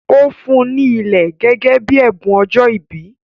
Ó fún ùn ní ilẹ̀ gẹ́gẹ́ bíi ẹ̀bùn ọjọ́ ìbí